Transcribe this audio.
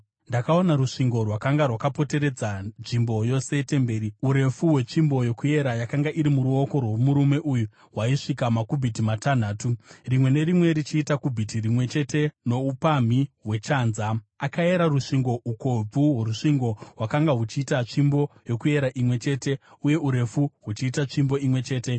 Ndakaona rusvingo rwakanga rwakapoteredza nzvimbo yose yetemberi. Urefu hwetsvimbo yokuera yakanga iri muruoko rwomurume uyu hwaisvika makubhiti matanhatu , rimwe nerimwe richiita kubhiti rimwe chete noupamhi hwechanza . Akayera rusvingo; ukobvu hworusvingo hwakanga huchiita tsvimbo yokuyera imwe chete, uye urefu huchiita tsvimbo imwe chete.